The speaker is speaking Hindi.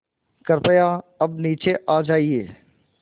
कृपया अब नीचे आ जाइये